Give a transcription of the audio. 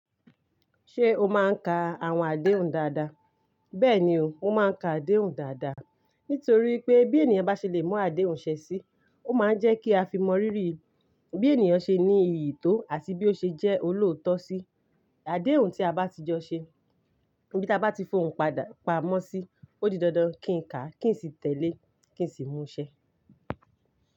Ṣé o máa ń ka àwọn àdéhùn dáadáa? Bẹ́ẹ̀ni o, mo máa ń ka àdéhùn dáadáa. Nítorí pé bí ènìyàn bá ṣe le mú àdéhùn ṣẹ sí, ó máa ń jẹ́ kí a fi mọ rírì bí ènìyàn ṣe ní iyì tó àti bí ó ṣe jẹ́ olóòótọ́ sí. Àdéhùn tí a bá ti jọ ṣe, ibí ti a bá ti fòhùn pamọ́ sí, ó di dandan kí n ká, kí n sì tẹ̀lé, kí n sì mú ṣẹ.